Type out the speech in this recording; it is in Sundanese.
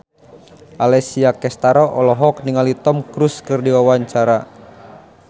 Alessia Cestaro olohok ningali Tom Cruise keur diwawancara